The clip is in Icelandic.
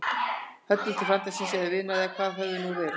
Höllu til frænda síns. eða vinar. eða hvað þau höfðu nú verið.